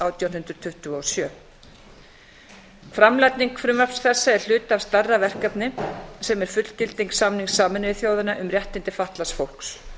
átján hundruð tuttugu og sjö framlagning frumvarps þessa er hlutfall af stærra verkefni sem er fullgilding samnings sameinuðu þjóðanna um réttindi fatlaðs fólks